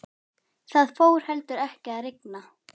Það fór heldur ekki að rigna.